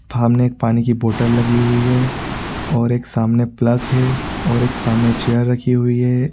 सामने एक पानी की बोतल लगी हुई है और एक सामने पल्क है और एक सामने चेयर रखी हुई है।